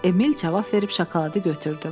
Emil cavab verib şokoladı götürdü.